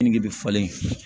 Keninge bɛ falen